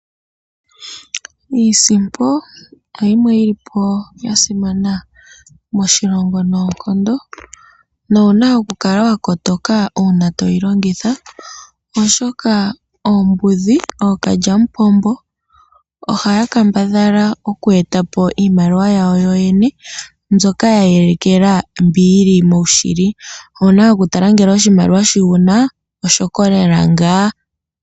Iisimpo oya simana moshilongo noonkondo nowu na okukala wa kotoka uuna to yi longitha, oshoka oombudhi, ookalyamupombo ohaya kala oku eta po iimaliwa yawo yoyene mbyoka ye elekela mbyoka yi li moshili. Owu na okutala ngele oshimaliwa shoka wu na oshokolela ngaa.